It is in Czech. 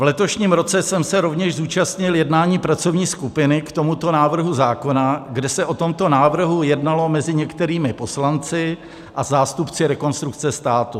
V letošním roce jsem se rovněž zúčastnil jednání pracovní skupiny k tomuto návrhu zákona, kde se o tomto návrhu jednalo mezi některými poslanci a zástupci Rekonstrukce státu.